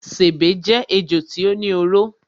Sèbé jé ejò tí ó ní oró.